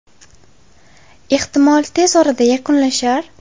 Ehtimol, tez orada yakunlashar.